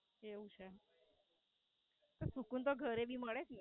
એવું છે? અરે સુકૂન તો ઘરે ભી મળે જ ને?